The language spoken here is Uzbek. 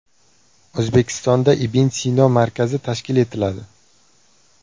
O‘zbekistonda Ibn Sino markazi tashkil etiladi.